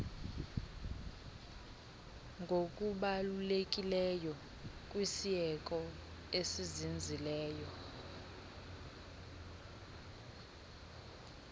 ngokubalulekileyo kwisieko esizinzileyo